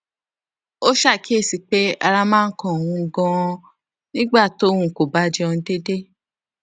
ó ṣàkíyèsí pé ara máa ń kan òun ganan nígbà tóun kò bá jẹun deede